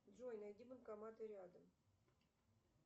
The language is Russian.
джой найди банкоматы рядом